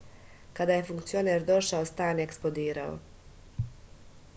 kada je funkcioner došao stan je eksplodirao